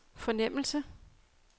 fornemmelse